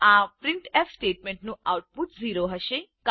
આ પ્રિન્ટફ સ્ટેટમેન્ટનું આઉટપુટ 0 હશે